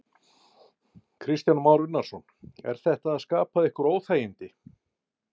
Kristján Már Unnarsson: Er þetta að skapa ykkur óþægindi?